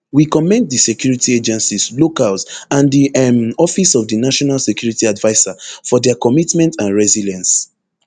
we commend di security agencies locals and di um office of di national security adviser for dia commitment and resilience